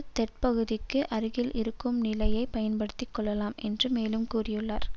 தெற்குப்பகுதிக்கு அருகில் இருக்கும் நிலையை பயன்படுத்தி கொள்ளலாம் என்று மேலும் கூறியுள்ளார்